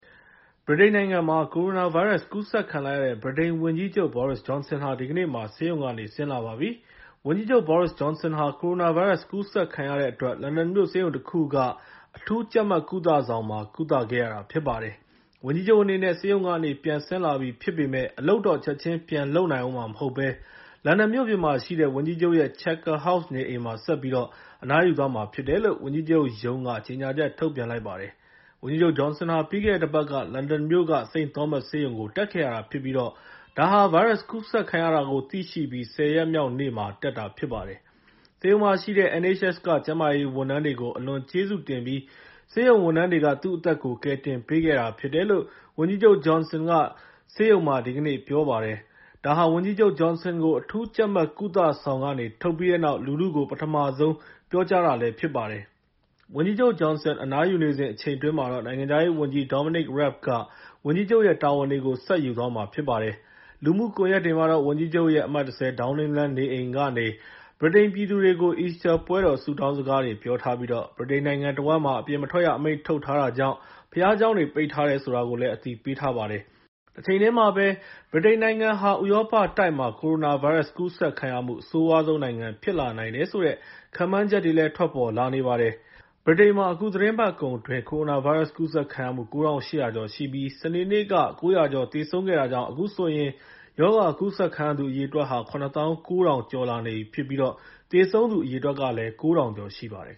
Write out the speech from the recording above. ဗြိတိန်နိုင်ငံမှာ ကိုရိုနာဗိုင်းရပ်စ် ကူးစက်ခံလိုက်ရတဲ့ ဗြိတိန်ဝန်ကြီးချုပ် Boris Johnson ဟာ ဒီကနေ့မှာ ဆေးရုံကနေ ဆင်းလာပါပြီ။ ဝန်ကြီးချုပ် Boris Johnson ဟာ ကိုရိုနာဗိုင်းရပ်စ် ကူးစက်ခံခဲ့ရတဲ့အတွက် လန်ဒန်မြို့ ဆေးရုံတခုက အရေးပေါ်လူနာတွေကိုထားတဲ့ အထူးကြပ်မတ် ကုသဆောင်မှာ ကုသခဲ့ရတာ ဖြစ်ပါတယ်။ ဝန်ကြီးချုပ်အနေနဲ့ ဆေးရုံကနေ ပြန်ဆင်းလာပြီဖြစ်ပေမယ့် အလုပ်တော့ ချက်ချင်းပြန်လုပ်ဦးမှာမဟုတ်ဘဲ လန်ဒန်မြို့ပြင်မှာရှိတဲ့ ဝန်ကြီးချုပ်ရဲ့ Chequers House နေအိမ်မှာ ဆက်ပြီးတော့ အနားယူသွားမှာဖြစ်တယ်လို့ ဝန်ကြီးချုပ်ရုံးက ကြေညာချက် ထုတ်ပြန်လိုက်ပါတယ်။ ဝန်ကြီးချုပ် Johnson ဟာ ပြီးခဲ့တဲ့တပတ်က လန်ဒန်မြို့က St. Thomas ဆေးရုံကို တက်ခဲ့ရတာဖြစ်ပြီး ဒါဟာ ဗိုင်းရပ်စ်ကူးစက်ခံရတာကို သိရှိပြီး ၁၀ ရက်မြောက်နေ့မှာ တက်တာဖြစ်ပါတယ်။ ဆေးရုံမှာရှိတဲ့ NHS က ကျန်းမာရေးဌာန ဝန်ထမ်းတွေကို အလွန်ကျေးဇူးတင်ပြီး ဆေးရုံဝန်ထမ်းတွေက သူ့အသက်ကို ကယ်တင်ပေးခဲ့တာဖြစ်တယ်လို့ ဝန်ကြီးချုပ် Johnson က ဆေးရုံမှာ ဒီကနေ့ ပြောပါတယ်။ ဒါဟာ ဝန်ကြီးချုပ် Johnson ကို အထူးကြပ်မတ် ကုသဆောင်ကနေ ထုတ်ပြီးတဲ့နောက် လူထုကို ပထမဆုံး ပြောကြားတာဖြစ်ပါတယ်။ ဝန်ကြီးချုပ် Johnson အနားယူနေစဉ် အချိန်အတွင်းမှာတော့ နိုင်ငံခြားရေးဝန်ကြီး Dominic Raab က ဝန်ကြီးချုပ်ရဲ့ တာဝန်တွေကို ယူသွားမှာဖြစ်ပါတယ်။ လူမှုကွန်ရက်တွေမှာတော့ ဝန်ကြီးချုပ်ရဲ့ အမှတ် ၁၀ ဒေါင်းနင်းလမ်းနေအိမ်ကနေ ဗြိတိန်ပြည်သူတွေကို အီစတာပွဲတော် ဆုတောင်းစကားတွေ ပြောထားပြီး ဗြိတိန်နိုင်ငံတဝှမ်းမှာ အပြင်မထွက်ရအမိန့် ထုတ်ထားတာကြောင့် ဘုရားကျောင်းတွေ ပိတ်ထားတယ် ဆိုတာကိုလည်း အသိပေးထားပါတယ်။ တချိန်တည်းမှာပဲ ဗြိတိန်နိုင်ငံဟာ ဥရောပတိုက်မှာ ကိုရိုနာဗိုင်းရပ်စ် ကူးစက်ခံရမှု အဆိုးရွားဆုံးနိုင်ငံ ဖြစ်လာနိုင်တယ်ဆိုတဲ့ ခန့်မှန်းချက်တွေလည်း ထွက်ပေါ်လာနေပါတယ်။ ဗြိတိန်မှာ အခုသီတင်းပတ်ကုန်အတွင်း ကိုရိုနာဗိုင်းရပ်စ် ကူးစက်ခံရမှု ၉၈၀၀ ကျော်ရှိပြီး စနေနေ့က ၉၀၀ ကျော် သေဆုံးခဲ့တာကြောင့် အခုဆိုရင် ရောဂါကူးစက်ခံရသူ အရေအတွက်ဟာ ၇ သောင်း ၉ ထောင်ကျော်လာနေပြီး သေဆုံးသူ အရေအတွက် ၉ ထောင်ကျော်ရှိပါတယ်